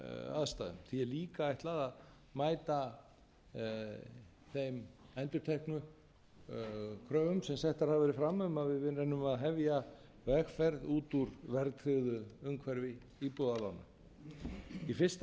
aðstæðum því er líka ætlað að mæta þeim endurteknu kröfum sem settar hafa verið fram um að við reynum að hefja vegferð út úr verðtryggðu umhverfi íbúðalána í fyrsta